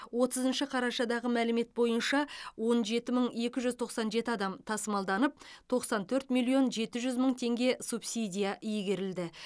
отызыншы қарашадағы мәлімет бойынша он жеті мың екі жүз тоқсан жеті адам тасымалданып тоқсан төрт миллион жеті жүз мың теңге субсидия игерілді